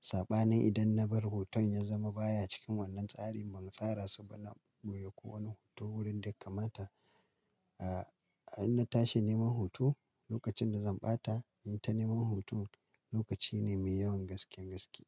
Saɓanin idan na bar hoton ya zama baya cikin wannan tsari, ban tsara su ba na bobboye ko wani hoto wurin da ya kamata. In na tashi neman hoto lokacin da zan ɓata, in ta neman hoto lokaci ne mai yawan gaske gaske.